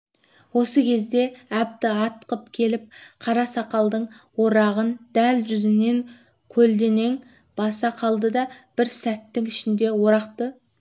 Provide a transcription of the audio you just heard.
осы кезде әбді атқып келіп қара сақалдың орағын дәл жүзінен көлденең баса қалды да бір сәттің ішінде орақты